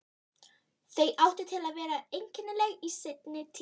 Þau áttu það til að vera einkennileg í seinni tíð.